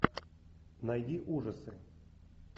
найди ужасы